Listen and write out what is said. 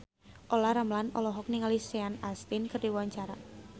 Olla Ramlan olohok ningali Sean Astin keur diwawancara